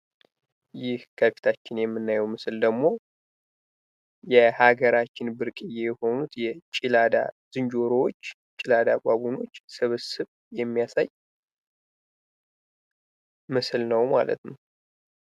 ይህ ከፊታችን የምናየው ምስል ደግሞ በሀገራችን ብርቅዬ ከሆኑት ጭላዳ ዝንጀሮዎች ጭላዳ ባቡኖች ስብስብ የሚያሳይ ምስል ነው ማለት ነው።